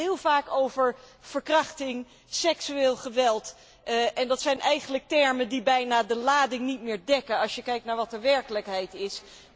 We hebben het heel vaak over verkrachting, seksueel geweld, en dat zijn eigenlijk termen die bijna de lading niet meer dekken als je kijkt naar wat de werkelijkheid is